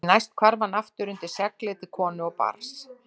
Því næst hvarf hann aftur undir seglið til konu og barns.